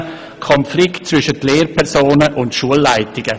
Es geht um den Konflikt zwischen Lehrpersonen und Schulleitungen.